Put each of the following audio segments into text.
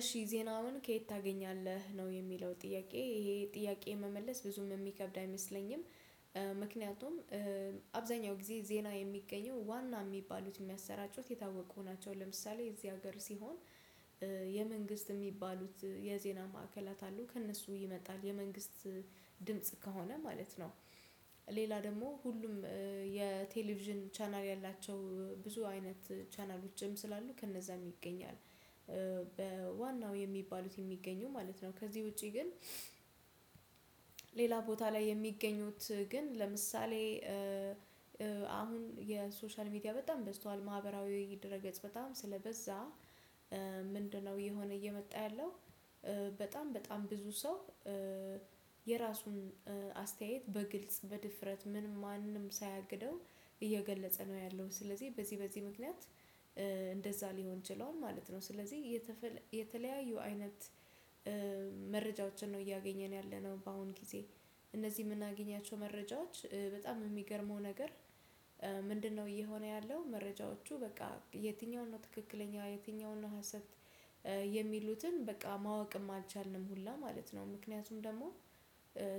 እሺ ዜናውን ከየት ታገኛለህ ነው የሚለው ጥያቄ ይሄ ጥያቄ መመለስ ብዙም የሚከብድ አይመስለኝም። ምክንያቱም አብዛኛው ጊዜ ዜና የሚገኘው ዋና የሚባሉት የሚያሰራጩት የታወቁ ናቸው ለምሳሌ የዚህ ሀገር ሲሆን። የመንግስት የሚባሉት የዜና ማዕከላት አሉ ከእነሱ ይመጣል የመንግስት ድምጽ ከሆነ ማለት ነው። ሌላ ደግሞ ሁሉም የቴሌቭዥን ቻናል ያላቸው ብዙ አይነት ቻናሎችም ስላሉ ከነዛም ይገኛል። በዋናው የሚባሉት የሚገኙ ማለት ነው ከዚህ ውጪ ግን። ሌላ ቦታ ላይ የሚገኙት ግን ለምሳሌ አሁን የሶሻል ሚዲያ በጣም በዝቷል ማህበራዊ ድህረ ገጽ በጣም ስለበዛ። ምንድነው የሆነ እየመጣ ያለው? በጣም በጣም ብዙ ሰው የራሱን አስተያየት በግልጽ በድፍረት ምን ማንም ሳያግደው እየገለጸ ነው ያለው ስለዚህ በዚህ በዚህ ምክንያት። እንደዛ ሊሆን ችሏል ማለት ነው። ስለዚህ የተለያዩ አይነት መረጃዎችን ነው እያገኘን ያለነው በአሁን ጊዜ። እነዚህ የምናገኛቸው መረጃዎች በጣም የሚገርመው ነገር። ምንድነው እየሆነ ያለው? መረጃዎቹ በቃ የትኛውን ነው ትክክለኛ የትኛውን ነው ሀሰት? የሚሉትን በቃ ማወቅም አልቻልንም ሁላ ማለት ነው ምክንያቱም ደግሞ።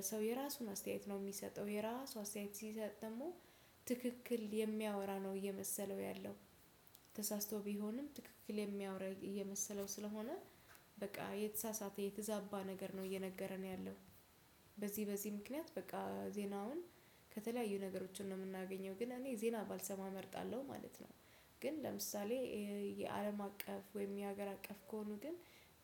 ሰው የራሱን አስተያየት ነው የሚሰጠው የራሱ አስተያየት ሲሰጥ ደግሞ ትክክል የሚያወራ ነው የመሰለው ያለው። ተሳስቶ ቢሆንም ትክክል የሚያወራ የመሰለው ስለሆነ በቃ የተሳሳተ የተዛባ ነገር ነው እየነገረን ያለው። በዚህ በዚህ ምክንያት በቃ ዜናውን ከተለያዩ ነገሮችን ነው የምናገኘው ግን እኔ ዜና ባልሰማ እመርጣለሁ ማለት ነው። ግን ለምሳሌ የአለም አቀፍ ወይም የሀገር አቀፍ ከሆኑ ግን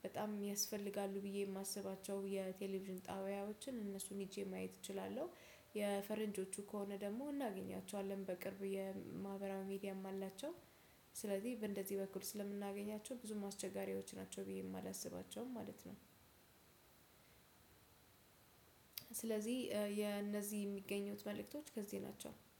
በጣም ያስፈልጋሉ ብዬ የማስባቸው የቴሌቪዥን ጣብያዎችን እነሱን ሄጄ ማየት እችላለሁ። የፈረንጆቹ ከሆነ ደግሞ እናገኛቸዋለን በቅርብ የማህበራዊ ሚዲያም አላቸው። ስለዚህ በእንደዚህ በኩል ስለምናገኛቸው ብዙም አስቸጋሪዎች ናቸው ብዬ የማላስባቸውም ማለት ነው። ስለዚህ የእነዚህ የሚገኙት መልእክቶች ከዚህ ናቸው